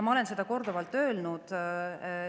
Ma olen seda korduvalt öelnud.